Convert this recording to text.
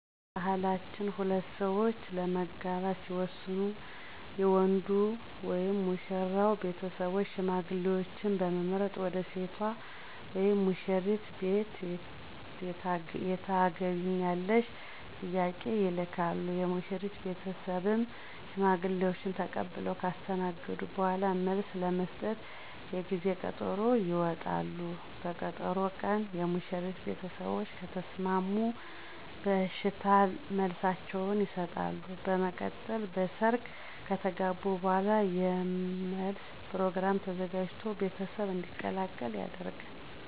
በባህላችን ሁለት ሠዎች ለመጋባት ሲወስኑ የወንዱ (ሙሽራው ) ቤተሰቦች ሽማግሌዎችን በመምረጥ ወደ ሴቷ (ሙሽሪት) ቤት የታገቢኛለሽ ጥያቄ ይልካሉ፤ የሙሽሪት ቤተሰብም ሽማግሌዎችን ተቀብለው ካስተናገዱ በኋላ መልስ ለመስጠት የጊዜ ቀጠሮ ይወጣሉ፤ በቀጠሮ ቀንም የሙሽሪት ቤተሰቦች ከተሰማሙ የእሽታ መልሳቸውን ይሠጣሉ፤ በመቀጠል በሰርግ ከተጋቡ በኋላ የመለስ ፕሮግራም ተዘጋጅቶ ቤተሰብ እንዲቀላቀል ይደረጋል።